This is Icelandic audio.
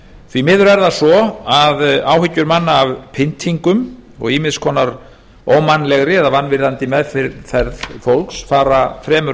því miður er það svo að áhyggjur manna af pyntingum og ýmiss konar ómannlegri eða vanvirðandi meðferð fólks fara fremur